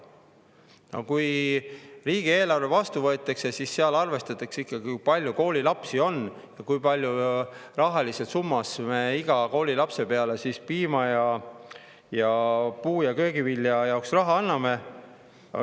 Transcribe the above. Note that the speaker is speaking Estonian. " Aga riigieelarves arvestatakse ikkagi seda, kui palju koolilapsi on ja kui palju me iga koolilapse peale piima ning puu‑ ja köögivilja jaoks raha anname.